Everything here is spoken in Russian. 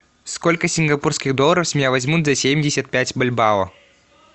сколько сингапурских долларов с меня возьмут за семьдесят пять бальбао